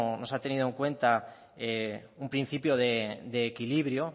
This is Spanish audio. no se ha tenido en cuenta un principio de equilibrio